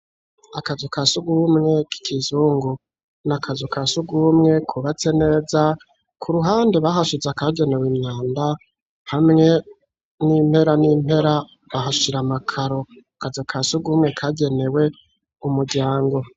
Akazu ka sugumwe kiki zungu, n'akazu ka sugumwe ku batse neza ku ruhande bahashize akagenewe imyanda hamwe n'impera n'impera bahashira amakaro, akazu ka sugumwe kagenewe umuryango.